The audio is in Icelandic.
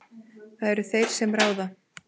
Það eru þeir sem ráða.